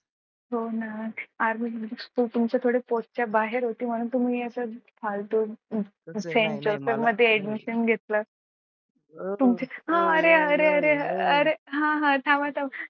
हो ना army तुमच्या थोडी पोहोच च्या बाहेर होते ना म्हणून तुम्ही असं फालतू मध्ये admission घेतलं हा अरे अरे अरे हा हा थांबा थांबा.